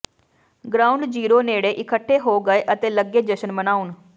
ground zero ਨੇੜੇ ਇੱਕਠੇ ਹੋ ਗਏ ਅਤੇ ਲੱਗੇ ਜਸ਼ਨ ਮਨਾਉਣ